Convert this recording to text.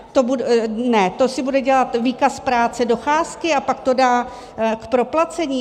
To si bude dělat výkaz práce, docházky, a pak to dá k proplacení?